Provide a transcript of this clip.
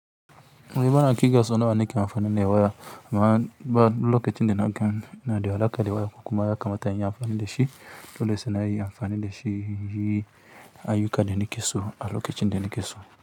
Wai bana ƙirga sau nawa nake amfanin da waya, amma ba lokacin da na gani na da alaƙa da waya kuma ya kamata in yi amfani da shi. Dole sai na yi anfani da shi, yi ayuka da ni ke so a lokacin da ni ke so.